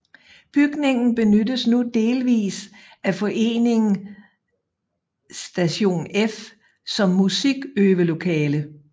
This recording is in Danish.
Bygningen benyttes nu delvist af foreningen Station F som musikøvelokale